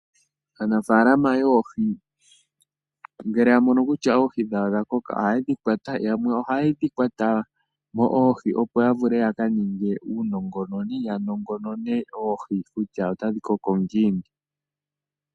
Aanafaalama yoohi ngele yamono kutya oohi dhawo odhakoka ohayedhi kwata yamwe ohaye dhikwatamo oohi opo yavule yakaningemo uunongononi yanongonone oohi kutya otadhi koko ngiini.